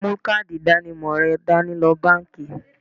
Mú káàdì ìdánimọ̀ rẹ dání lọ báńkì.